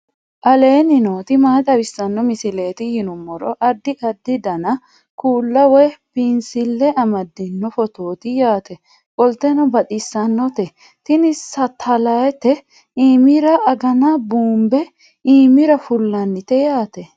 aleenni nooti maa xawisanno misileeti yinummoro addi addi dananna kuula woy biinsille amaddino footooti yaate qoltenno baxissannote tini satalayitete imira agana buumbe iimira fullannite yaate